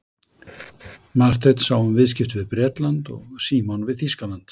Marteinn sá um viðskipti við Bretland og Símon við Þýskaland.